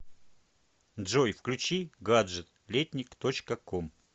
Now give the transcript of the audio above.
джой включи гаджет летник точка ком